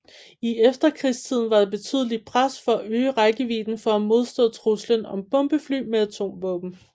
I efterkrigstiden var der et betydeligt pres for at øge rækkevidden for at modstå truslen om bombefly med atomvåben